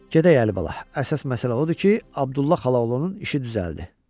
Gedək Əlibala, əsas məsələ odur ki, Abdulla Xalaoğlu işi düzəldi.